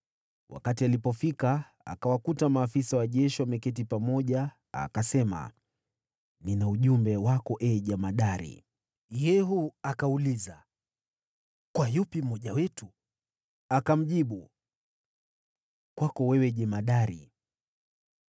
Wakati alipofika, akawakuta maafisa wa jeshi wameketi pamoja, akasema, “Nina ujumbe wako, ee jemadari.” Yehu akauliza, “Kwa yupi miongoni mwetu?” Akamjibu, “Kwako wewe, jemadari.”